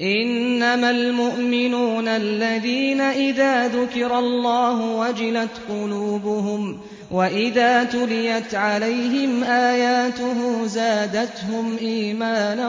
إِنَّمَا الْمُؤْمِنُونَ الَّذِينَ إِذَا ذُكِرَ اللَّهُ وَجِلَتْ قُلُوبُهُمْ وَإِذَا تُلِيَتْ عَلَيْهِمْ آيَاتُهُ زَادَتْهُمْ إِيمَانًا